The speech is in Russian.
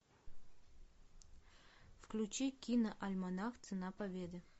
включи киноальманах цена победы